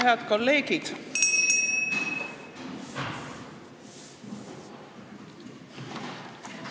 Head kolleegid!